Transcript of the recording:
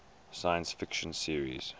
science fiction series